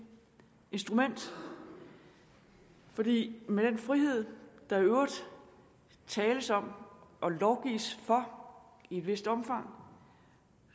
instrument fordi den frihed der i øvrigt tales om og lovgives for i et vist omfang